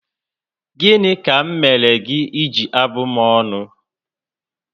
Gịnị ka m mèrè gị eji abụ m ọnụ?